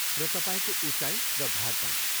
र तपाईँको उचाइ र भार पनि।